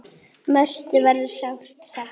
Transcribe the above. Mörthu verður sárt saknað.